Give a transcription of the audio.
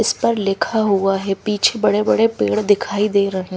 इस पर लिखा हुआ है पीछे बड़े बड़े पेड़ दिखाई दे रहे--